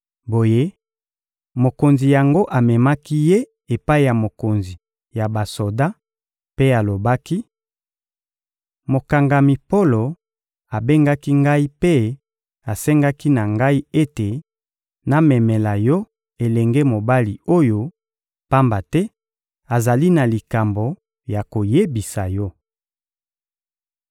Boye, mokonzi yango amemaki ye epai ya mokonzi ya basoda mpe alobaki: — Mokangami Polo abengaki ngai mpe asengaki na ngai ete namemela yo elenge mobali oyo, pamba te azali na likambo ya koyebisa yo.